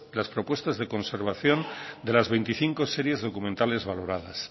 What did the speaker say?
las propuestas de conversación de las veinticinco series documentales valoradas